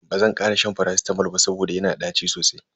Bazan kara shan faracitamol ba saboda yana da ɗaci sosai.